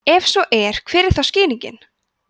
ef svo er hver er þá skýringin